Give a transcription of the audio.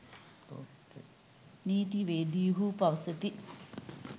නීතිවේදීහු පවසති.